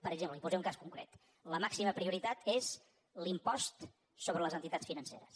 per exemple li’n posaré un cas concret la màxima prioritat és l’impost sobre les entitats financeres